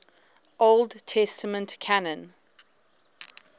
old testament canon